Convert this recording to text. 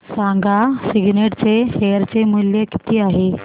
सांगा सिग्नेट चे शेअर चे मूल्य किती आहे